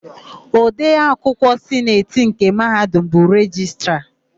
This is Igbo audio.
Odeakwụkwọ Sineti nke Mahadum bụ Rejistra.